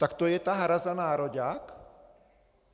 Tak to je ta hra za nároďák?